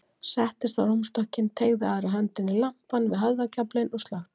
Settist á rúmstokkinn, teygði aðra höndina í lampann við höfðagaflinn og slökkti.